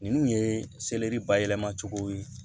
Ninnu ye selɛri bayɛlɛmacogo ye